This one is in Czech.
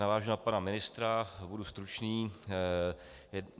Navážu na pana ministra, budu stručný.